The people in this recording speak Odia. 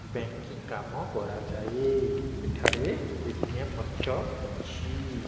ବ୍ୟଙ୍କିଙ୍ଗ କମ କରାଯାଏ ଏଟାରେ ଏଟିଏମ ମଧ୍ୟ ଅଛି।